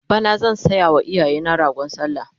bana zan sayawa iyayena ragon sallah